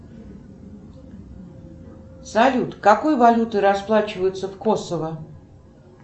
салют какой валютой расплачиваются в косово